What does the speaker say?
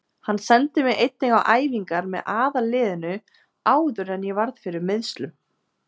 Hann sendi mig einnig á æfingar með aðalliðinu áður en ég varð fyrir meiðslum.